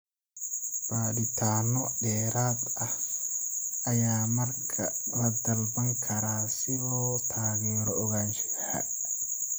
Baadhitaano dheeraad ah ayaa markaa la dalban karaa si loo taageero ogaanshaha.